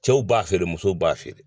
Cɛw b'a feere musow b'a feere.